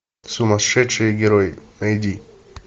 сумасшедшие герои найди